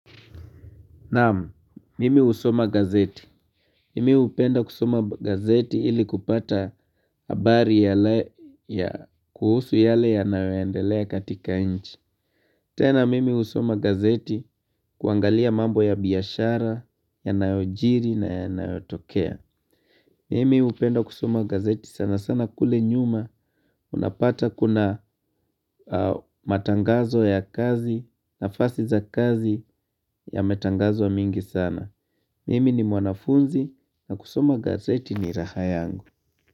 Naamu, mimi husoma gazeti. Mimi hupenda kusoma gazeti ili kupata abari yanaye ya kuhusu yale yanao endelea katika inchi. Tena mimi husoma gazeti kuangalia mambo ya biashara, yanao jiri na ya naotokea. Mimi hupenda kusoma gazeti sana sana kule nyuma unapata kuna matangazo ya kazi nafasi za kazi ya matangazo mingi sana. Mimi ni mwanafunzi na kusoma gazeti ni raha yangu.